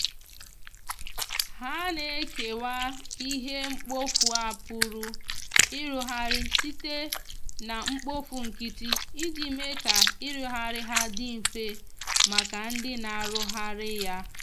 ha na ekewa ihe mkpọfụ a pụrụ irụghari site na mkpofụ nkiti ijii mee ka irughari ha ndi mfe maka ndi na na arughari ya